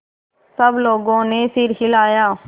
सब लोगों ने सिर हिलाए